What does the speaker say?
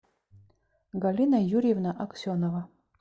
галина юрьевна аксенова